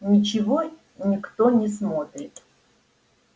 ничего никто не смотрит